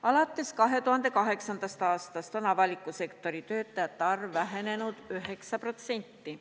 Alates 2008. aastast on avaliku sektori töötajate arv vähenenud 9%.